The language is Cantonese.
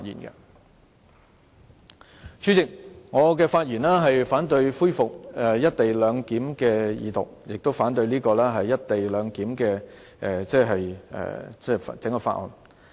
代理主席，我發言反對《廣深港高鐵條例草案》的二讀，亦反對有關"一地兩檢"安排的整項法案。